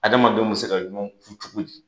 Adamadenw bɛ se ka ɲɔgɔn kun cogo di?